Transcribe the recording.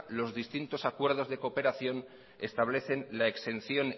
los distintos acuerdos de cooperación establecen la exención